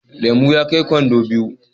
Lemu ya kai kwando biyu